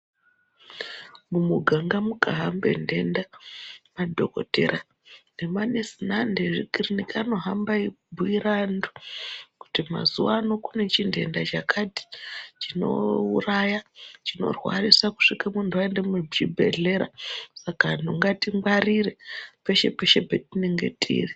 Mumiganga mukahamba ndenda madhokodheya nemanesi nezvikiriki anohamba eibhuira antu kuti mazuva ano kune xhindenda chakati chinoitaya chinorwarisa kusvika muchibhohlera Saka antu ngatingwarire peshe peshe patinenge tiri.